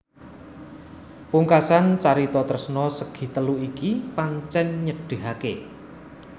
Pungkasan carita tresna segitelu iki pancèn nyedhihaké